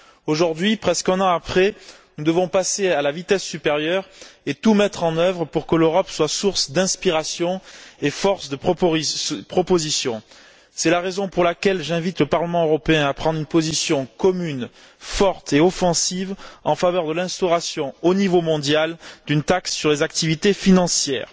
Aujourd'hui, presque un an après, nous devons passer à la vitesse supérieure et tout mettre en œuvre pour que l'Europe soit source d'inspiration et force de propositions. C'est la raison pour laquelle j'invite le Parlement européen à prendre une position commune, forte et offensive en faveur de l'instauration, au niveau mondial, d'une taxe sur les activités financières.